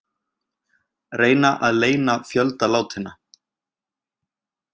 Reyna að leyna fjölda látinna